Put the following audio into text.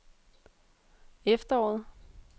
efteråret